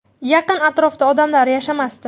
Yaqin atrofda odam yashamasdi.